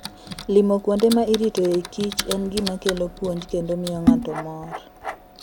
Limo kuonde ma iritoe kich en gima kelo puonj kendo miyo ng'ato mor.